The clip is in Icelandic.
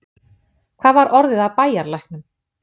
Hvað var orðið af bæjarlæknum?